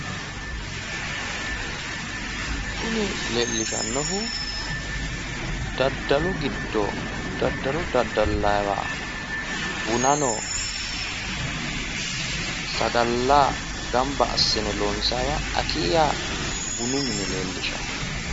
Kuni leellishannohu daddalu giddo daddalo daddalayiwa bunano sagaleno gamba assi'ne loonsayiwa akiyya bunu mine leellishshanno.